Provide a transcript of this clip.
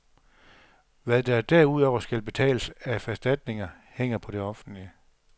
Hvad der derudover skal betales af erstatninger, hænger på det offentlige.